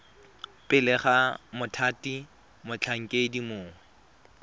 pele ga mothati motlhankedi mongwe